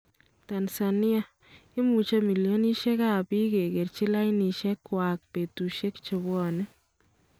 Tanzania : Imuch millionishek ab bik kekerchi lainishek kyak betushek chebwone.